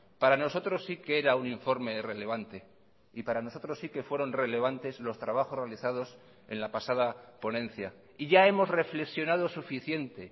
para nosotros sí que era un informe relevante y para nosotros sí que fueron relevantes los trabajos realizados en la pasada ponencia y ya hemos reflexionado suficiente